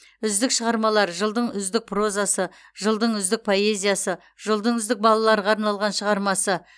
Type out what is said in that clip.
үздік шығармалар жылдың үздік прозасы жылдың үздік поэзиясы жылдың үздік балаларға арналған шығармасы